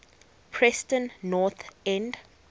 preston north end